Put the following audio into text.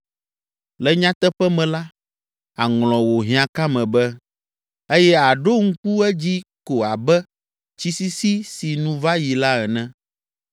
Le nyateƒe me la, àŋlɔ wò hiãkame be eye àɖo ŋku edzi ko abe tsi sisi si nu va yi la ene.